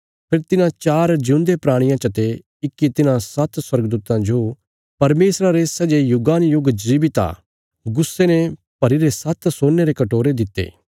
फेरी तिन्हां चार जिऊंदे प्राणियां चते इक्की तिन्हां सात्त स्वर्गदूतां जो परमेशरा रे सै जे युगानुयुग जीवित आ गुस्से ने भरीरे सात्त सोने रे कटोरे दित्ते